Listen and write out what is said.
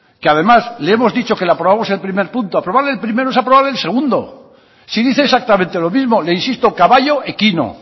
que además le hemos dicho que le aprobamos el primer punto aprobar el primero es aprobar el segundo si dice exactamente lo mismo le insisto caballo equino